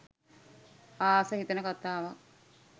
ආස හිතෙන කතාවක්.